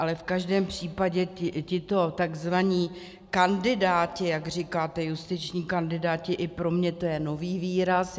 Ale v každém případě tito tzv. kandidáti, jak říkáte, justiční kandidáti, i pro mě je to nový výraz.